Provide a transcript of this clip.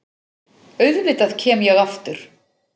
Auðvitað kem ég aftur.